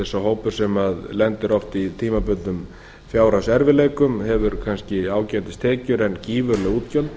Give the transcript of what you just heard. sá hópur sem lendir oft í tímabundnum fjárhagserfiðleikum hefur kannski ágætis tekjur en gífurleg útgjöld